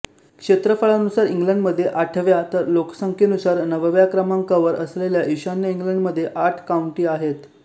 क्षेत्रफळानुसार इंग्लंडमध्ये आठव्या तर लोकसंख्येनुसार नवव्या क्रमांकावर असलेल्या ईशान्य इंग्लंडमध्ये आठ काउंटी आहेत